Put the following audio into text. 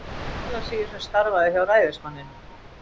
Thorlacius, sem starfaði hjá ræðismanninum.